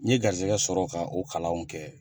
N ye garisigɛ sɔrɔ ka o kalanw kɛ